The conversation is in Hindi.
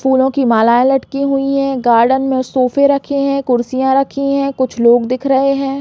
फूलों की माला लटकी हुई है गार्डन में सोफे रखे है कुर्सियां रखी है कुछ लोग दिख रहै है।